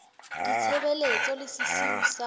la ditshebeletso le sesiu sa